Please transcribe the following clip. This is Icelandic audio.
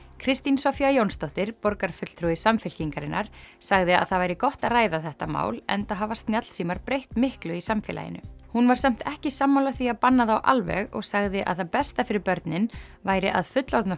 Kristín Soffía Jónsdóttir borgarfulltrúi Samfylkingarinnar sagði að það væri gott að ræða þetta mál enda hafa snjallsímar breytt miklu í samfélaginu hún var samt ekki sammála því að banna þá alveg og sagði að það besta fyrir börnin væri að fullorðna